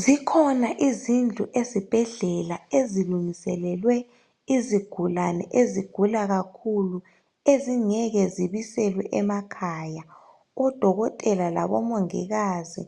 Zikhona izindlu ezibhendlela ezilungiselelwe izigulane ezigula kakhulu ezingeke zibiselwe emakhaya odokotela labomongikazi